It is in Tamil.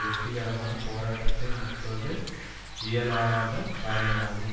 வெற்றிகரமான போராட்டத்தை நடத்துவது இயலாத காரியமாகும்